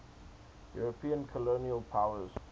european colonial powers